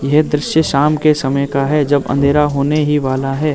यह दृश्य शाम के समय का है जब अंधेरा होने ही वाला है।